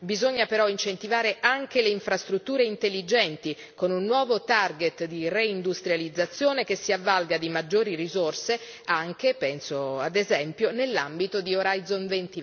Bisogna però incentivare anche le infrastrutture intelligenti con un nuovo target di reindustrializzazione che si avvalga di maggiori risorse anche, penso, ad esempio nell'ambito di Horizon